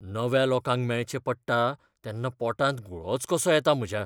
नव्या लोकांक मेळचें पडटा तेन्ना पोटांत गुळोच कसो येता म्हज्या.